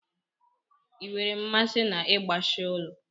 Ị nwere mmasị n'ịgbashi ụlọ?